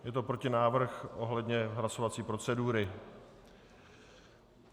Je to protinávrh ohledně hlasovací procedury.